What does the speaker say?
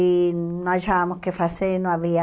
E não achávamos o que fazer, não havia...